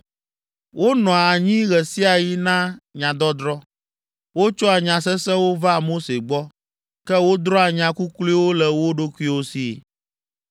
Wonɔa anyi ɣe sia ɣi na nyadɔdrɔ̃. Wotsɔa nya sesẽwo vaa Mose gbɔ, ke wodrɔ̃a nya kukluiwo le wo ɖokuiwo si.